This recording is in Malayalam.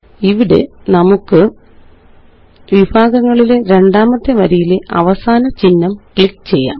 ഇവിടെ നമുക്ക് വിഭാഗങ്ങളിലെ രണ്ടാമത്തെ വരിയിലെ അവസാന ചിഹ്നംക്ലിക്ക് ചെയ്യാം